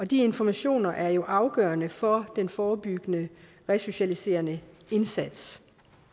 de informationer er jo afgørende for den forebyggende resocialiserende indsats